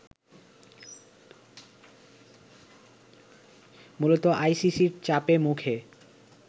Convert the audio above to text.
মূলত আইসিসির চাপের মুখে